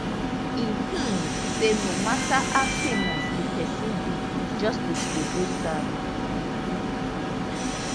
e um say no mata how famous di pesin be justice go dey served